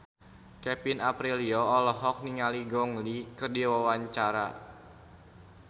Kevin Aprilio olohok ningali Gong Li keur diwawancara